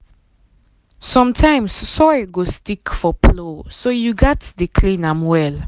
sometimes soil go stick for plow so you gatz dey clean am well.